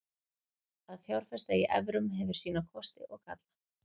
Að fjárfesta í evrum hefur sína kosti og galla.